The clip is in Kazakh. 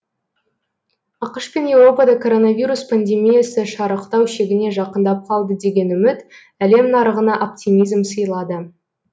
ақш пен еуропада коронавирус пандемиясы шарықтау шегіне жақындап қалды деген үміт әлем нарығына оптимизм сыйлады